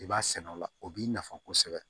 I b'a sɛnɛ o la o b'i nafa kosɛbɛ